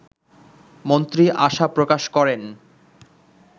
মন্ত্রী আশা প্রকাশ করেন